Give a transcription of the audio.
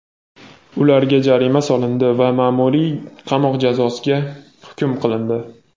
ularga jarima solindi va ma’muriy qamoq jazosiga hukm qilindi.